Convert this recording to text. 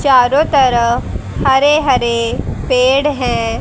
चारों तरफ हरे हरे पेड़ है।